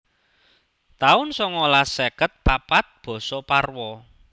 taun songolas seket papat Basa Parwa